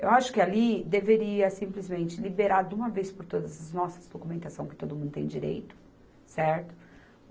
Eu acho que ali deveria simplesmente liberar de uma vez por todas as nossas documentação que todo mundo tem direito, certo?